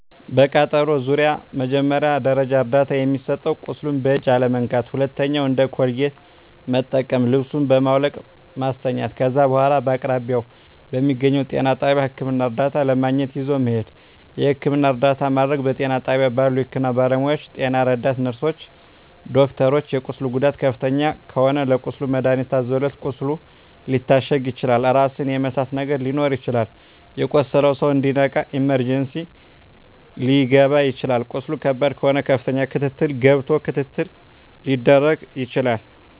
በቃጠሎ ዙሪያ መጀመሪያ ደረጃ እርዳታ የሚሰጠዉ ቁስሉን በእጅ አለመንካት ሁለተኛዉ እንደ ኮልጌት መጠቀም ልብሱን በማዉለቅ ማስተኛት ከዛ በኋላ በአቅራቢያዎ በሚገኘዉ ጤና ጣቢያ ህክምና እርዳታ ለማግኘት ይዞ መሄድ የህክምና እርዳታ ማድረግ በጤና ጣቢያ ባሉ የህክምና ባለሞያዎች ጤና ረዳት ነርስሮች ዶክተሮች የቁስሉ ጉዳት ከፍተኛ ከሆነ ለቁስሉ መድሀኒት ታዞለት ቁስሉ ሊታሸግ ይችላል ራስን የመሳት ነገር ሊኖር ይችላል የቆሰለዉ ሰዉ እንዲነቃ ኢመርጀንሲ ሊከባ ይችላል ቁስሉ ከባድ ከሆነ ከፍተኛ ክትትል ገብቶ ክትትል ሊደረግ ይችላል